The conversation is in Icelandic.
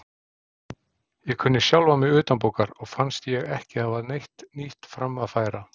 Ég kunni sjálfan mig utanbókar og fannst ég ekki hafa neitt nýtt fram að færa.